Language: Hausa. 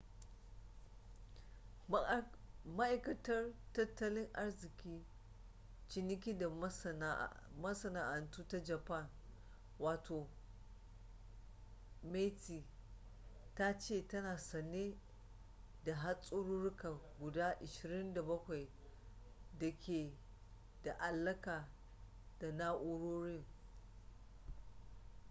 ma’aikatar tattalin arziki ciniki da masana’antu ta japan meti ta ce tana sane da hatsarurruka guda 27 da ke da alaƙa da na’urorin